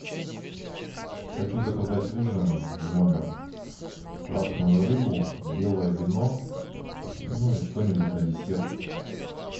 хочу заказать ужин в номер красную рыбу белое вино ну и что нибудь на десерт